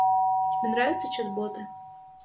тебе нравится чат боты